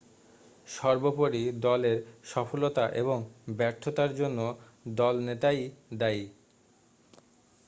সর্বোপরি দলের সফলতা এবং ব্যর্থতার জন্য দলনেতাই দায়ী